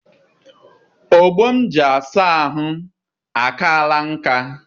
Ogbo m ji asa ahụ akaala nkà.